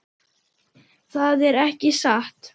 Það er ekki satt.